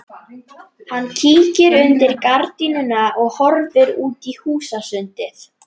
Skemmda húðin á nefinu setur á hana svolítið sérkennilegan svip.